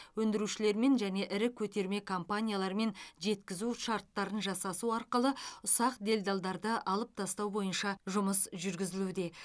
өндірушілермен және ірі көтерме компаниялармен жеткізу шарттарын жасасу арқылы ұсақ делдалдарды алып тастау бойынша жұмыс жүргізілуде